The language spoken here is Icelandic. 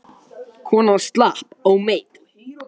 Konan slapp ómeidd.